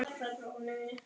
Dansað og hlegið.